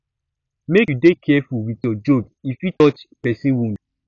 make you dey careful with your joke e fit touch person wound